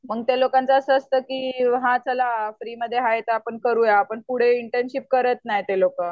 मग ते लोकांचं असं असतं की हां चला फ्रीमध्ये आहे तर आपण करूया. पण पुढे इंटर्नशिप करत नाहीत ते लोकं.